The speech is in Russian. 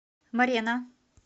морена